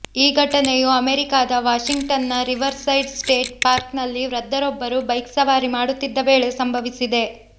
ಈ ಘಟನೆಯು ಅಮೇರಿಕಾದ ವಾಷಿಂಗ್ಟನ್ನ ರಿವರ್ ಸೈಡ್ ಸ್ಟೇಟ್ ಪಾರ್ಕ್ನಲ್ಲಿ ವೃದ್ದರೊಬ್ಬರು ಬೈಕ್ ಸವಾರಿ ಮಾಡುತ್ತಿದ್ದ ವೇಳೆ ಸಂಭವಿಸಿದೆ